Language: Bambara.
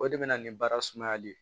O de bɛ na ni baara sumayali ye